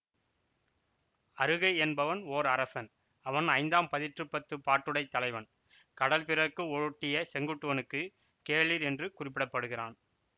அறுகை என்பவன் ஓர் அரசன் அவன் ஐந்தாம் பதிற்றுப்பத்துப் பாட்டுடைத் தலைவன் கடல் பிறக்கு ஓட்டிய செங்குட்டுவனுக்குக் கேளிர் என்று குறிப்பிடப்படுகிறான்